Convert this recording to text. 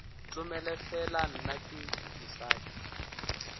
tomele fela nna ke mosadi